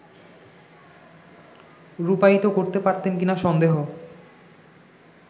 রূপায়িত করতে পারতেন কিনা সন্দেহ